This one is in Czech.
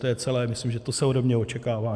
To je celé, myslím, že to se ode mě očekává.